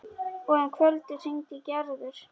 Og um kvöldið hringdi Gerður.